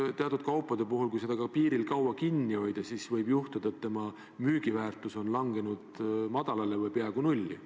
Kui teatud kaupu piiril kaua kinni hoida, siis võib nende müügiväärtus langeda madalale või peaaegu nulli.